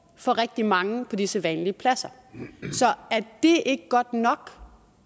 for rigtig mange på de sædvanlige pladser så er det ikke godt nok